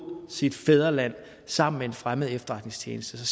sit fædreland sammen med en fremmed efterretningstjeneste